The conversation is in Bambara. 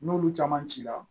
N'olu caman cira